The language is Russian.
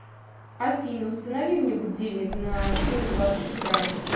афина установи мне будильник на семь двадцать утра